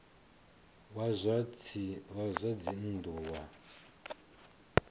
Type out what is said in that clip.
wa zwa dzinn ḓu wa